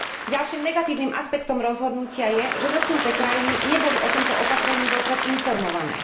Ďalším negatívnym aspektom rozhodnutia je, že dotknuté krajiny neboli o tomto opatrení vopred informované.